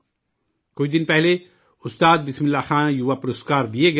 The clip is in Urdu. کچھ دن پہلے 'استاد بسم اللہ خاں یوا پرسکار' دیے گئے